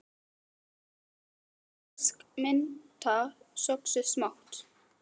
Nokkur blöð fersk mynta söxuð smátt